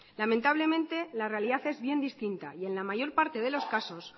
lamentablemente la realidad es bien distinta y en la mayor parte de los casos